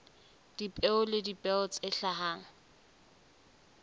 dipeo le dipeo tse hlahang